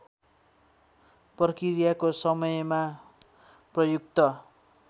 प्रक्रियाको समयमा प्रयुक्त